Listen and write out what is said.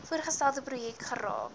voorgestelde projek geraak